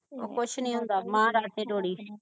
ਉਹ ਕੁਛ ਨਹੀਂ ਹੁੰਦਾ ਮਹਾਰਾਜ ਤੇ ਡੋਰੀ